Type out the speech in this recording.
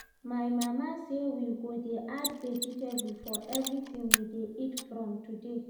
My mama say we go dey add vegetable for everything we dey eat from today